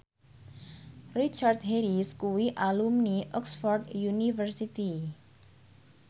Richard Harris kuwi alumni Oxford university